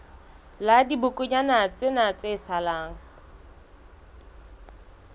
la dibokonyana tsena tse salang